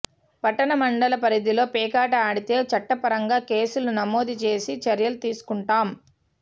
పట్టణ మండల పరిధిలో పేకాట ఆడితే చట్టపరంగ కేసులు నమోదు చేసి చర్యలు తీసుకుంటాం